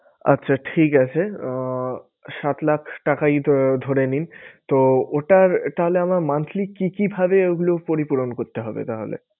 আচ্ছা ঠিক আছে আহ সাত লাখ টাকাই আহ ধরে নিন। তো ওটার তাহলে আমার monthly কি কি ভাবে ওগুলো পরিপূরণ করতে হবে তাহলে?